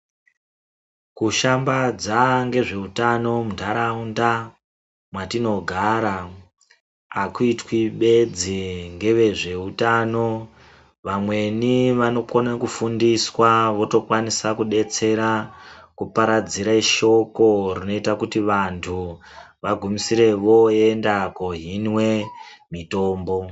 Kushambadza ngezveutano muntaraunda mwetinogara hakuitwi bedzi ngevezveutano. Vamweni vanokona kufundiswa votokwanisa kubetsera kuparadzire shoko rinoite kuti vantu vagumisire voenda kohinwe mitombo.